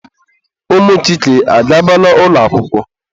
Ụmụ Chike agabala ụlọ akwụkwọ?